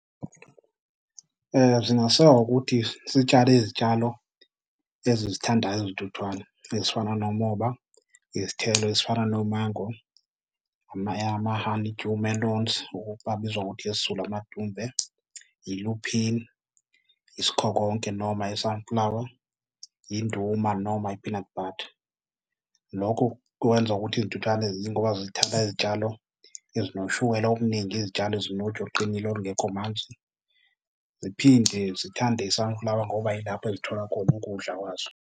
Zingasekwa ngokuthi sitshale izitshalo ezizithandayo izintuthwane ezifana nomoba, izithelo ezifana nomango, ama-honeydew melones abizwa ngokuthi ngesiZulu amadumbe, yi-lupin, isikhokonke noma i-sunflower, induma noma yi-peanut butter. Lokho kwenza ukuthi izintuthane yingoba zithanda izitshalo ezinoshukela omningi, izitshalo ezinoju oluqinile olungekho manzi, ziphinde zithande i-sunflower ngoba yilapho ezithola khona ukudla kwazo.